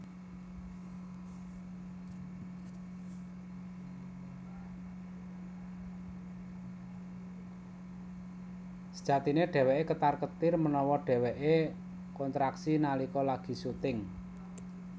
Sejatiné dhéwéké ketar ketir menawa dheweké kontraksi nalika lagi syuting